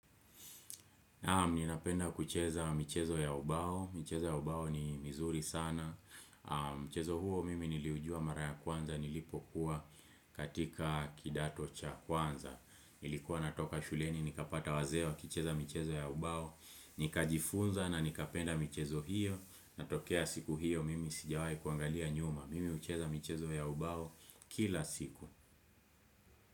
Ninapenda kucheza michezo ya ubao. Michezo ya ubao ni mizuri sana. Michezo huo mimi niliujua mara ya kwanza nilipokuwa katika kidato cha kwanza. Nilikuwa natoka shuleni nikapata wazee kucheza michezo ya ubao. Nikajifunza na nikapenda michezo hiyo. Natokea siku hiyo mimi sijawai kuangalia nyuma. Mimi hucheza michezo ya ubao kila siku.